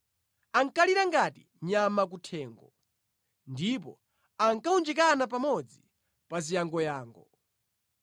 Ankalira ngati nyama kuthengo ndipo ankawunjikana pamodzi pa ziyangoyango.